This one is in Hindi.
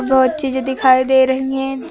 और चीज़ें दिखाई दे रही है।